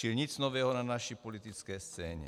Čili nic nového na naší politické scéně.